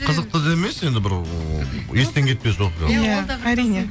қызықты да емес енді бір ыыы естен кетпес оқиға иә әрине